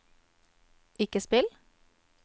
ikke spill